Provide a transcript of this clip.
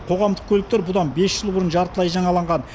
қоғамдық көліктер бұдан бес жыл бұрын жартылай жаңаланған